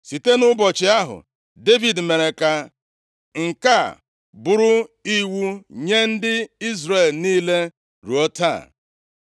Site nʼụbọchị ahụ, Devid mere ka nke a bụrụ iwu nye ndị Izrel niile ruo taa.